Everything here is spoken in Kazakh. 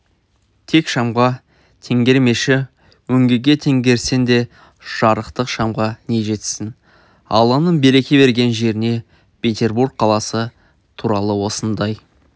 тек шамға теңгермеші өңгеге теңгерсең де жарықтық шамға не жетсін алланың береке берген жеріне петербург қаласы туралы осындай